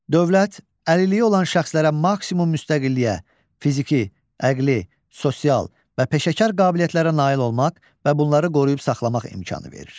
Dövlət əlilliyi olan şəxslərə maksimum müstəqilliyə, fiziki, əqli, sosial və peşəkar qabiliyyətlərə nail olmaq və bunları qoruyub saxlamaq imkanı verir.